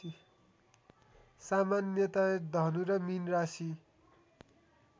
सामान्यतया धनु र मीन राशि